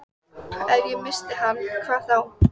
Ef ég missti hana, hvað þá?